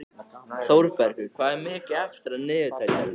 Þórbergur, hvað er mikið eftir af niðurteljaranum?